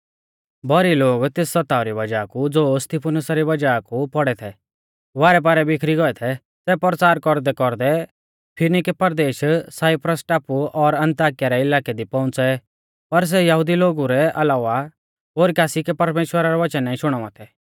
भौरी लोग तेस सताव री वज़ाह कु ज़ो स्तिफनुसा री वज़ाह कु पौड़ै थै वारैपारै बिखरी गौऐ थै सै परचार कौरदैकौरदै फिनिकै परदेश साइप्रस टापु और अन्ताकिया रै इलाकै दी पौउंच़ै पर सै यहुदी लोगु रै अलावा ओरी कासी कै परमेश्‍वरा रै वचन नाईं शुणावा थै